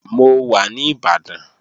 Mò wa ní Ìbàdàn